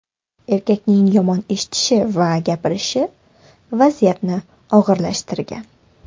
Erkakning yomon eshitishi va gapirishi vaziyatni og‘irlashtirgan.